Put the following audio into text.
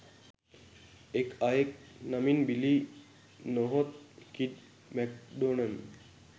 එක් අයෙක් නමින් බිලී නොහොත් කිඩ් මැක්ඩොනන්